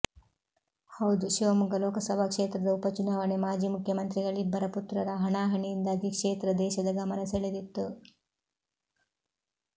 ಹೌದು ಶಿವಮೊಗ್ಗ ಲೋಕಸಭಾ ಕ್ಷೇತ್ರದ ಉಪ ಚುನಾವಣೆ ಮಾಜಿ ಮುಖ್ಯಮಂತ್ರಿಗಳಿಬ್ಬರ ಪುತ್ರರ ಹಣಾಹಣಿಯಿಂದಾಗಿ ಕ್ಷೇತ್ರ ದೇಶದ ಗಮನ ಸೆಳೆದಿತ್ತು